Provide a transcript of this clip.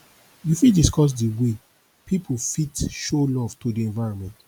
you fit dicuss di way people fit show love to di environment